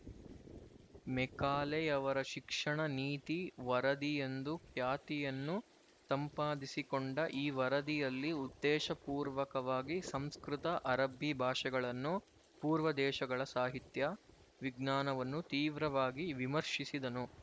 ಮೆಕಾಲೆಯವರ ಶಿಕ್ಷಣ ನೀತಿ ವರದಿಯೆಂದು ಖ್ಯಾತಿಯನ್ನು ಸಂಪಾದಿಸಿಕೊಂಡ ಈ ವರದಿಯಲ್ಲಿ ಉದ್ದೇಶಪೂರ್ವಕವಾಗಿ ಸಂಸ್ಕೃತ ಅರಬ್ಬಿ ಭಾಷೆಗಳನ್ನು ಪೂರ್ವದೇಶಗಳ ಸಾಹಿತ್ಯ ವಿಜ್ಞಾನವನ್ನು ತೀವ್ರವಾಗಿ ವಿಮರ್ಶಿಸಿದನು